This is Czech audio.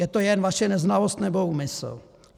Je to jen vaše neznalost, nebo úmysl?